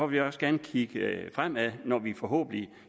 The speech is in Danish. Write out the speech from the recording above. vi også gerne kigge fremad når vi forhåbentlig